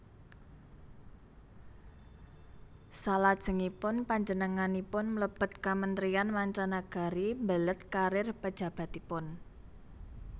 Salajengipun panjenenganipun mlebet Kamentrian Manca Nagari mbelet karir pejabatipun